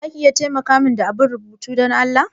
Za ki iya taimaka min da abun rubutu Dan Allah?